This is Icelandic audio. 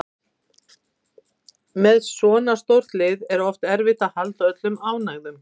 Með svona stórt lið er oft erfitt að halda öllum ánægðum